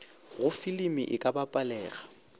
go filimi e ka bapalega